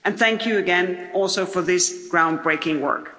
Thank you again also for this ground-breaking work.